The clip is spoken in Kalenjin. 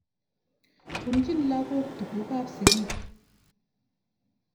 Punchin lagok tuguk ap sigik.